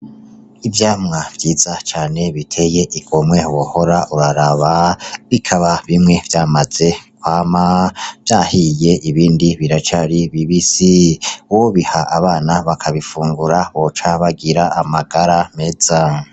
Ivyamwa vyiza cane biteye igomwe wohora uraraba, bikaba bimwe vyamaze kwama vyahiye ibindi biracari bibisi wobiha abana bakabifungura boca bagira amagara meza.